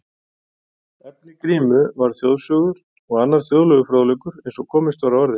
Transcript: Efni Grímu var þjóðsögur og annar þjóðlegur fróðleikur eins og komist var að orði.